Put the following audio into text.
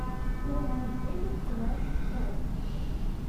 найти серию тринадцать сообщество